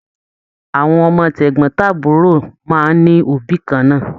Àwọn ọmọ tegbọn-taburo máa n ní òbí kànnà.